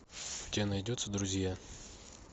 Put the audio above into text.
у тебя найдется друзья